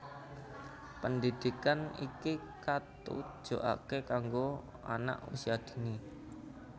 Pendhidhikan iki katujokake kanggo Anak Usia Dini